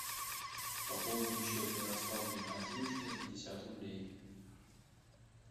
пополни счет ярославу геннадьевичу на пятьдесят рублей